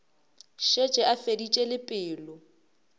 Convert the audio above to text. šetše a feditše le pelo